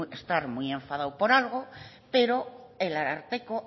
estar muy enfadado por algo pero el ararteko